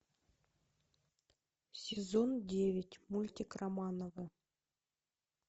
сезон девять мультик романовы